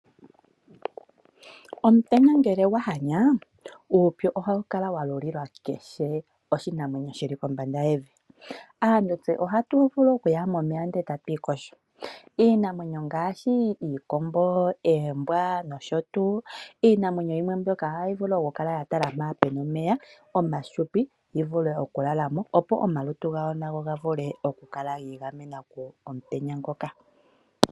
Omutenya ngele gwahanya uupyu ohawu kala walulila kehe oshinamwenyo shili kombamda yevi. Aantu tse oha tuvulu okuya momeya ndele etatu iyogo. Iinamwenyo ngaashi, iikombo, oombwa nosho tuu. Iinamwenyo yimwe mbyoka ohayi vulu okukala yatala mpoka puna omeya omafupi yivule okulalamo opo omalutu gawo nago gavule okukala giigamena komutenya ngoka.